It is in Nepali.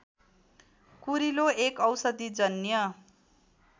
कुरिलो एक औषधिजन्य